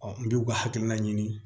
n bɛ k'u ka hakilina ɲini